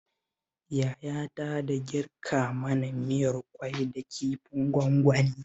Yayata da girka mana miyar ƙwai da kifin gwangwani